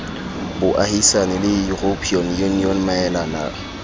boahisani le european union maelana